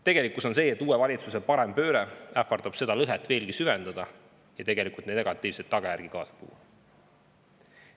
Tegelikkus on see, et uue valitsuse parempööre ähvardab seda lõhet veelgi süvendada ja negatiivseid tagajärgi kaasa tuua.